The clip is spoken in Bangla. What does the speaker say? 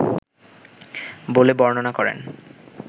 বলে বর্ণনা করেন